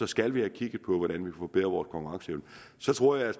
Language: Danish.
skal vi have kigget på hvordan vi kan forbedre vores konkurrenceevne så tror jeg at